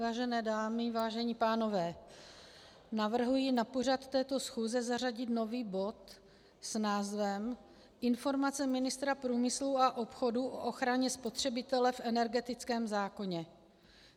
Vážené dámy, vážení pánové, navrhuji na pořad této schůze zařadit nový bod s názvem Informace ministra průmyslu a obchodu o ochraně spotřebitele v energetickém zákoně.